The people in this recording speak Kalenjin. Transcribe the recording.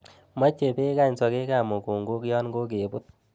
Moche bek any sokekab mukunkok yon kokebut.